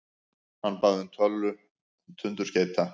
Hann bað um tölu tundurskeyta.